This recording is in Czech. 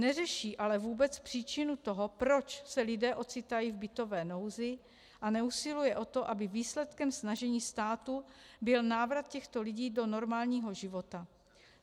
Neřeší ale vůbec příčinu toho, proč se lidé ocitají v bytové nouzi, a neusiluje o to, aby výsledkem snažení státu byl návrat těchto lidí do normálního života.